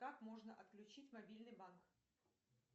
как можно отключить мобильный банк